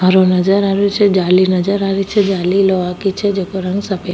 हरो नजर आ रो छे जाली नजर आ री छे जाली लोहा के छे जेको रंग सफ़ेद --